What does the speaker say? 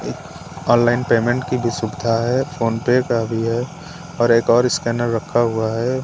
Online payment की भी सुविधा है फोन पे का भी है और एक और स्कैनर रखा हुआ है।